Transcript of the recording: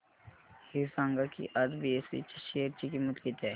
हे सांगा की आज बीएसई च्या शेअर ची किंमत किती आहे